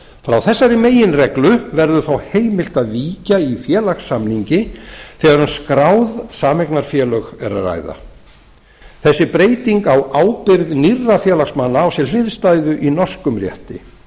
frá þessari meginreglu verður þó heimilt að víkja í félagssamningi þegar um skráð sameignarfélög er að ræða þessi breyting á ábyrgð nýrra félagsmanna á sér hliðstæðu í norskum rétti